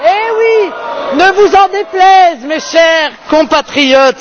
Oui, ne vous en déplaise, mes chers compatriotes.